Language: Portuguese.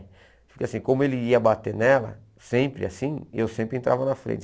Porque assim, como ele ia bater nela, sempre assim, eu sempre entrava na frente.